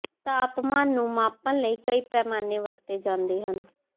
ਤਾਪਮਾਨ ਨੂੰ ਮਾਪਣ ਲਈ ਕਈ ਪੈਮਾਨੇ ਵਰਤੇ ਜਾਂਦੇ ਹਨ